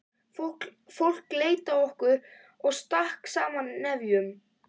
Fólk leit til okkar og stakk saman nefjum.